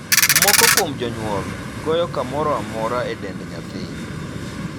Moko kuom jonyuol goyo kamoro amora e dend nyathi.